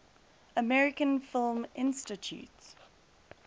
american film institute